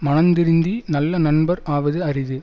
மனந்திருந்தி நல்ல நண்பர் ஆவது அரிது